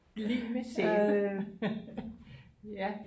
Lig med sæbe ja